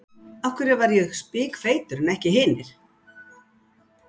Af hverju var ég spikfeitur en ekki hinir?